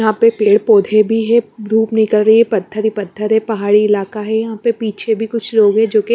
यहां पे पेड़ पौधे भी है धूप निकल रही है पत्थर ही पत्थर है पहाड़ी इलाका है यहां पे पीछे भी कुछ लोग है जो --